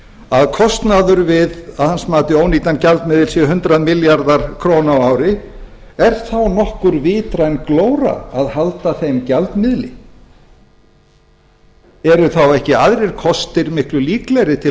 að kostnaður við að hans mati ónýtan gjaldmiðil sé hundrað milljarðar króna á ári er þá nokkur vitræn glóra að halda þeim gjaldmiðli eru þá ekki aðrir kostir miklu líklegri til